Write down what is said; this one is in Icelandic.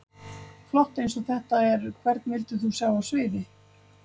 Flott eins og þetta er Hvern vildir þú sjá á sviði?